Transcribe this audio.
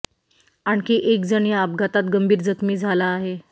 आणखी एक जण या अपघातात गंभीर जखमी झाला आहे